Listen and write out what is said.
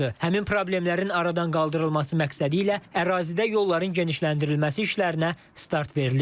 Həmin problemlərin aradan qaldırılması məqsədilə ərazidə yolların genişləndirilməsi işlərinə start verilib.